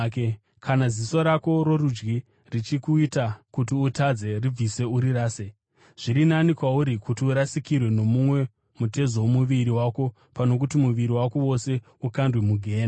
Kana ziso rako rorudyi richikuita kuti utadze, ribvise urirase. Zviri nani kwauri kuti urasikirwe nomumwe mutezo womuviri wako pano kuti muviri wako wose ukandwe mugehena.